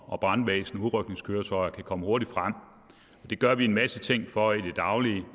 og brandvæsen udrykningskøretøjer kan komme hurtigt frem og det gør vi en masse ting for i det daglige